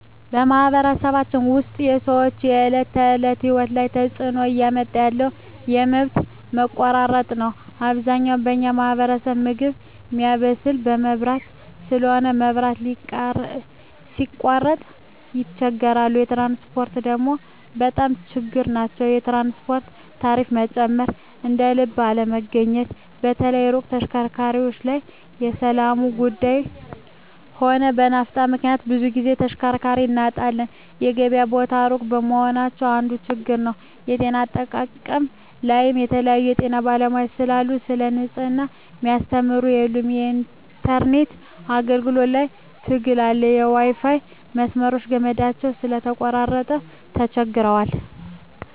በማኅበረሰባችን ውስጥ የሰዎች የዕለት ተእለት ህይወት ላይ ትጽእኖ እያመጣ ያለው የመብት መቆራረጥ ነዉ አብዛኛው በኛ ማህበረሰብ ምግብ ሚያበስል በመብራት ስለሆነ መብራት ሲቃረጥ ይቸገራሉ ትራንስፖርት ደግሞ በጣም ችግር ናቸዉ የትራንስፖርት ታሪፋ መጨመር እደልብ አለመገኘት በተለይ የሩቅ ተሽከርካሪዎች ላይ በሠላሙም ጉዱይ ሆነ በናፍጣ ምክንያት ብዙ ግዜ ተሽከርካሪ እናጣለን የገበያ ቦታ እሩቅ መሆናቸው አንዱ ችግር ነዉ የጤና አጠባበቅ ላይም የተለያዩ የጤና ባለሙያዎች ስለሉ ሰለ ንጽሕና ሚያስተምሩ የሉም የኢንተርነት አገልግሎት ላይም ትግር አለ የዋይፋይ መስመሮች ገመዳቸው ስለተቆራረጠ ተቸግረዋል